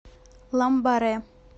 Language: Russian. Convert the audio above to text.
ламбаре